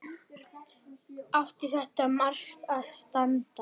Átti þetta mark að standa?